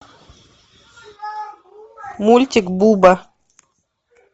мультик буба